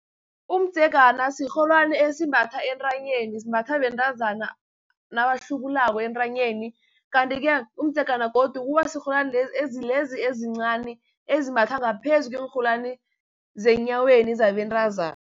Umdzegana sirholwani esimbathwa entanyeni, simbathwa bentazana nabahlubulako entanyeni. Kanti-ke umdzegana godu uba sirholwani ezincani ezimbathwa ngaphezu kweenrholwani zenyaweni zabentazana.